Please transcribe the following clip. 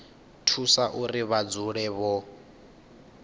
thusa uri vha dzule vho